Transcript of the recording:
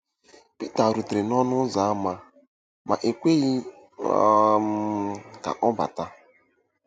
Pita rutere n'ọnụ ụzọ ámá ma e kweghị um ka ọ bata.